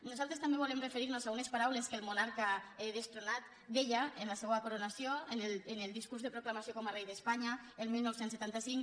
nosaltres també volem referir nos a unes paraules que el monarca destronat deia en la seua coronació en el discurs de proclamació com a rei d’espanya el dinou setanta cinc